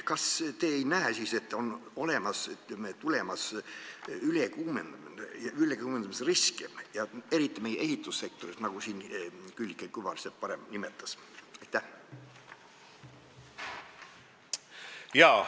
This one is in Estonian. Kas te ei näe, et on olemas ülekuumenemise risk, eriti meie ehitussektoris, nagu Külliki Kübarsepp juba varem viitas?